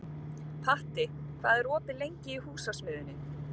Patti, hvað er opið lengi í Húsasmiðjunni?